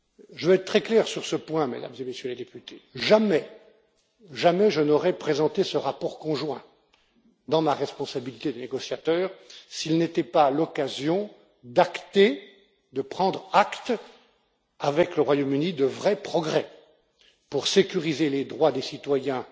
Je veux être très clair sur ce point, Mesdames et Messieurs les députés jamais je n'aurais présenté ce rapport conjoint dans ma responsabilité de négociateur s'il n'était pas l'occasion d'acter et de prendre acte, avec le Royaume Uni, de vrais progrès pour sécuriser les droits des citoyens,